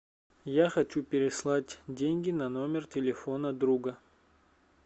я хочу переслать деньги на номер телефона друга